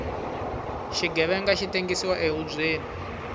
xighevenga xi tengsiwa ehubyeni